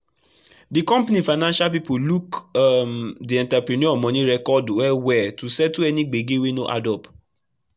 the company financial people look um the entrepreneur money record well well to settle any gbege wey no add up.